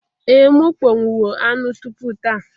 Ee m akpọnwụwo anụ tupu taa